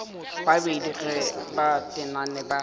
babedi ge ba tenane ba